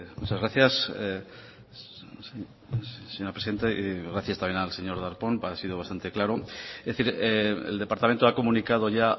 muchas gracias señora presidenta y gracias también al señor darpón ha sido bastante claro es decir el departamento ha comunicado ya